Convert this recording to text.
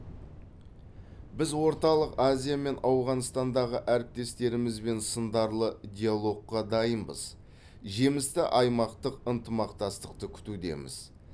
біз орталық азия мен ауғанстандағы әріптестерімізбен сындарлы диалогқа дайынбыз жемісті аймақтық ынтымақтастықты күтудеміз